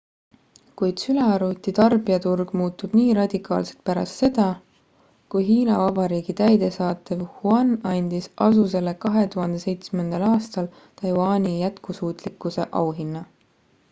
kuid sülearvuti tarbijaturg muutub nii radikaalselt pärast seda kui hiina vabariigi täidesaatev yuan andis asusele 2007 aastal taiwani jätkusuutlikkuse auhinna